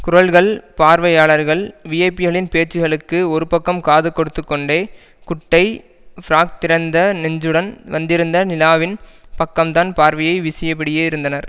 குரல்கள் பார்வையாளர்கள் விஐபிகளின் பேச்சுகளுக்கு ஒருபக்கம் காது கொடுத்துக்கொண்டே குட்டை ஃபிராக் திறந்த நெஞ்சுடன் வந்திருந்த நிலாவின் பக்கம்தான் பார்வையை விசியபடியே இருந்தனர்